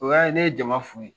O y'a ye ne ye jama fo.